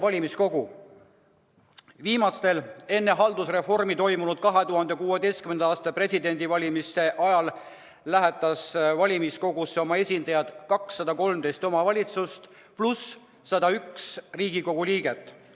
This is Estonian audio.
Viimaste, enne haldusreformi toimunud 2016. aasta presidendivalimiste ajal lähetas valimiskogusse oma esindajad 213 omavalitsust, kellele lisandus 101 Riigikogu liiget.